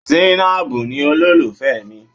Zainab ni olólùfẹ́ mi.